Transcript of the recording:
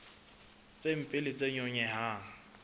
tse mpe le tse nyonyehang